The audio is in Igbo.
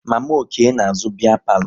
Mama Okey na-azụ biya palo